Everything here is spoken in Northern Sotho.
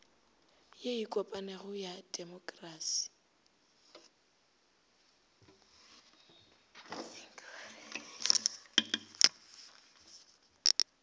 ye e kopanego ya temokrasi